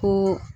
Ko